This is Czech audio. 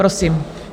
Prosím.